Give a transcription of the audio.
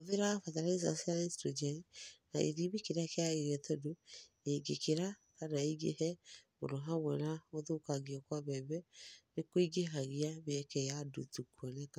Hũthĩra bataraitha cia Naitũrũnjeni na gĩthimi kĩrĩa kĩagĩrĩire tondũ ĩngĩkĩra /kana ĩingĩhe mũno hamwe na gũthũkangio kwa mbembe nĩkũingĩhagia mĩeke ya nduutu kũonekana.